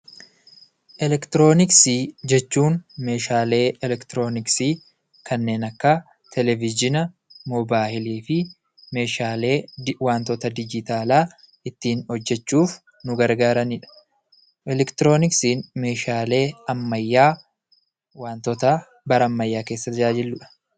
Elektirooniksii jechuun meeshaalee elektirooniksii kanneen akka televizhiina, mobaayilii fi meeshaalee wantoota dijitaalaa ittiin hojjechuuf nu gargaarani dha. Elektirooniksiin meeshaalee ammayyaa wantoota bara ammayyaa keessa tajaajilu dha.